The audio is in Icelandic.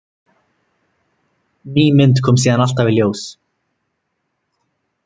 Ný mynd kom síðan alltaf í ljós.